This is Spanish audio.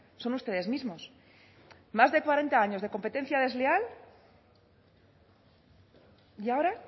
son ustedes mismos más de cuarenta años de competencia desleal y ahora